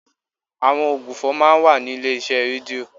Àwọn ògbufọ̀ máa ń wà ní ilé iṣẹ́ rédíò.